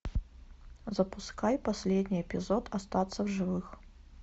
запускай последний эпизод остаться в живых